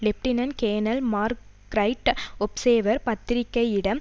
lieutenant colonel Mark Wright Observer பத்திரிகையிடம்